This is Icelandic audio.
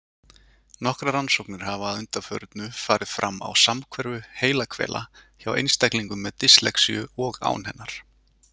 Nokkrar rannsóknir hafa að undanförnu farið fram á samhverfu heilahvela hjá einstaklingum með dyslexíu og án hennar.